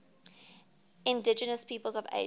indigenous peoples of asia